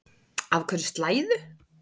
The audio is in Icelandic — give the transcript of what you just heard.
Af hverju slæðu?